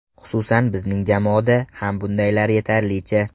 Xususan bizning jamoada ham bundaylar yetarlicha.